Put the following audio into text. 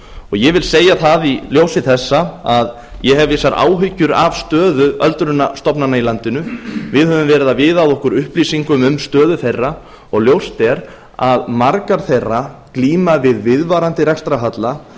ég vil segja það í ljósi þessa að ég hef vissar áhyggjur af stöðu öldrunarstofnana í landinu við höfum verið að viða að okkur upplýsingum um stöðu þeirra og ljóst er að margar þeirra glíma við viðvarandi rekstrarhalla